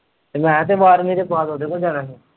ਤੇ ਮੈਂ ਤੇ ਬਾਰਵੀਂ ਦੇ ਬਾਅਦ ਉਹਦੇ ਕੋਲ ਜਾਣਾ ਸੀ।